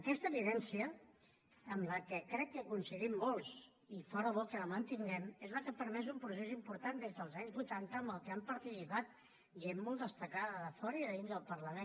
aquesta evidència en què crec que coincidim molts i fóra bo que la mantinguem és la que ha permès un procés important des dels anys vuitanta en què han participat gent molt destacada de fora i de dins del parlament